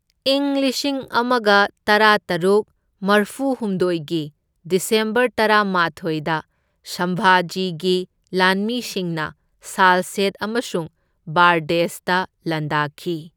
ꯢꯪ ꯂꯤꯁꯤꯡ ꯑꯃꯒ ꯇꯔꯥꯇꯔꯨꯛ ꯃꯔꯐꯨꯍꯨꯝꯗꯣꯢꯒꯤ ꯗꯤꯁꯦꯝꯕꯔ ꯇꯔꯥꯃꯥꯊꯣꯢꯗ ꯁꯝꯚꯥꯖꯤꯒꯤ ꯂꯥꯟꯃꯤꯁꯤꯡꯅ ꯁꯥꯜꯁꯦꯠ ꯑꯃꯁꯨꯡ ꯕꯥꯔꯗꯦꯖꯇ ꯂꯥꯟꯗꯥꯈꯤ꯫